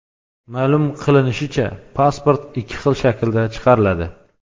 Ma’lum qilinishicha, pasport ikki xil shaklda chiqariladi.